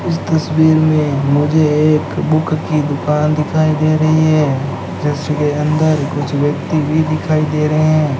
इस तस्वीर में मुझे एक बुक की दुकान दिखाई दे रही है जिसके अंदर कुछ व्यक्ति भी दिखाई दे रहे हैं।